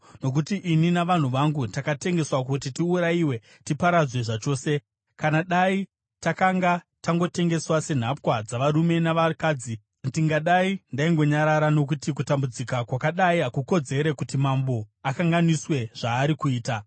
Nokuti ini navanhu vangu takatengeswa kuti tiurayiwe tiparadzwe zvachose. Kana dai takanga tangotengeswa senhapwa dzavarume navakadzi, ndingadai ndaingonyarara, nokuti kutambudzika kwakadai hakukodzere kuti mambo akanganiswe zvaari kuita.”